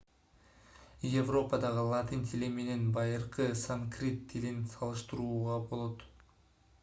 европадагы латын тили менен байыркы санскрит тилин салыштырууга болот